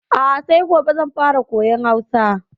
A'a sai gobe zan fara koyan Hausa.